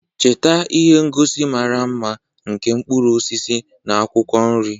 Cheta ihe ngosi mara mma nke mkpụrụ osisi na akwụkwọ nri,